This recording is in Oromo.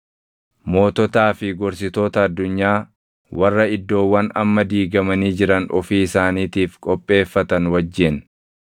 moototaa fi gorsitoota addunyaa warra iddoowwan amma diigamanii jiran ofii isaaniitiif qopheeffatan wajjin,